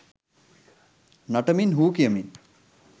නටමින් හූ කියමින්